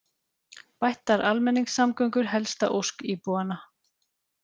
Bættar almenningssamgöngur helsta ósk íbúanna